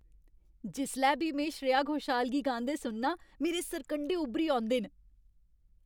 जिसलै बी में श्रेया घोषाल गी गांदे सुनना आं, मेरे सरकंढे उब्भरी औंदे न।